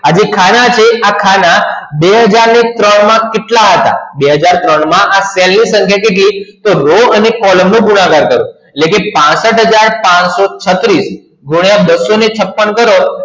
આજે ખાના છે ખાના બે હજાર ત્રણ માં કેટલા હતા? બે હજાર ત્રણ માં આ સેલનો રો અને કોલમનો ગુણાકાર કરો પાસઠ હજાર પચસો છત્રીસ ગુણ્યા બસો છપણ કરો